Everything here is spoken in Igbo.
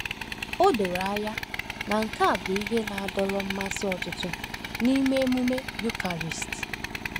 O doro anya na nke a bụ ihe na-adọrọ mmasị ọtụtụ n’ịme emume Eucharist.